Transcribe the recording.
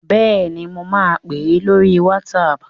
Bẹ́ẹ̀ni, mo ma pè ẹ́ lórí WhatsApp